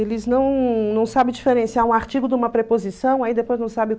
Eles não não sabem diferenciar um artigo de uma preposição, aí depois não sabem...